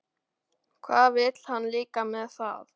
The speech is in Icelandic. Hvað vill hann líka með það?